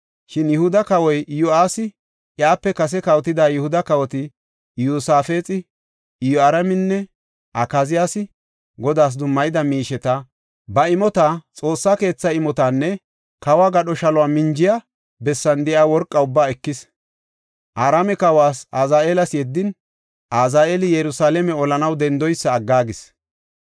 Shin Yihuda kawoy Iyo7aasi iyape kase kawotida Yihuda kawoti Iyosaafexi, Iyoraaminne Akaziyaasi Godaas dummayida miisheta, ba imota, Xoossa keetha imotanne kawo gadho shalo minjiya bessan de7iya worqa ubba ekis. Araame kawas Azaheelas yeddin, Azaheeli Yerusalaame olanaw dendoysa aggaagis.